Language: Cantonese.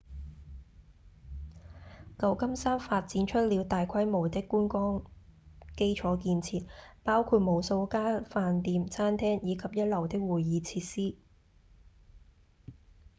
舊金山發展出了大規模的觀光基礎建設包括無數家飯店、餐廳以及一流的會議設施